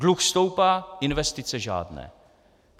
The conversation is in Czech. Dluh stoupá, investice žádné.